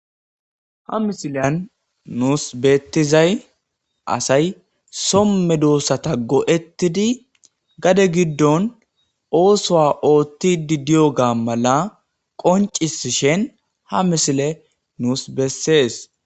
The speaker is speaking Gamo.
ha misilan nuus beettizay asay somme doossata go7ettidi gade giddon oosoa oothtidi diyo gaa mala qoncisishen ha misile nuus bessees